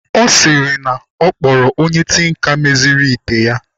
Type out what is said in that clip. Ọ sịrị na ọ kpọrọ onye tinka meziri ite ya.